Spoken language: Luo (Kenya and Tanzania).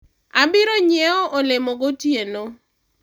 obiro nyiewo olemo gotieno